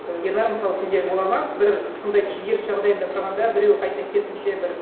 і ернар мысалы сенде болады ма бір сондай күйзеліс жағдайында тұрғанда біреу қайта керісінше бір